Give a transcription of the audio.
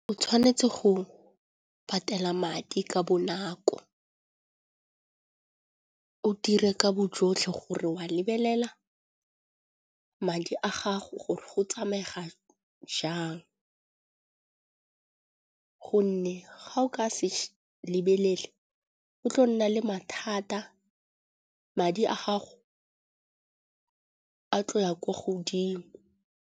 O tshwanetse go patela madi ka bonako, o dire ka bojotlhe gore wa lebelela madi a gago gore go tsamega jang. Gonne ga o ka se lebelele go tla nna le mathata, madi a gago a tlo ya ko godimo.